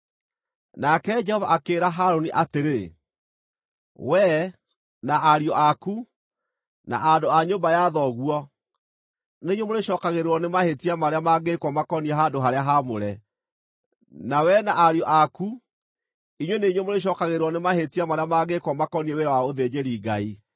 Nake Jehova akĩĩra Harũni atĩrĩ, “Wee, na ariũ aku, na andũ a nyũmba ya thoguo, nĩ inyuĩ mũrĩcookagĩrĩrwo nĩ mahĩtia marĩa mangĩĩkwo makoniĩ handũ-harĩa-haamũre, na wee na ariũ aku inyuĩ nĩ inyuĩ mũrĩcookagĩrĩrwo nĩ mahĩtia marĩa mangĩĩkwo makoniĩ wĩra wa ũthĩnjĩri-Ngai.